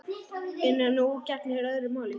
En nú gegnir öðru máli.